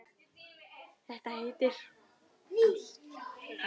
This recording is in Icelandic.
Þetta heitir ást.